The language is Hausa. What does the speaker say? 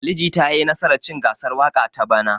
Ali Jita ya yi nasar cin gasar waƙa ta bana.